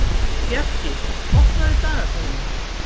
Bjarki, opnaðu dagatalið mitt.